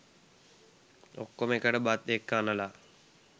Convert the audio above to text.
ඔක්කොම එකට බත් එක්ක අනලා